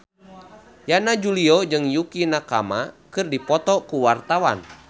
Yana Julio jeung Yukie Nakama keur dipoto ku wartawan